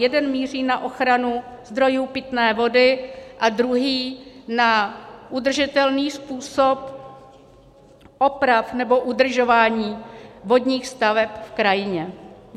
Jeden míří na ochranu zdrojů pitné vody a druhý na udržitelný způsob oprav nebo udržování vodních staveb v krajině.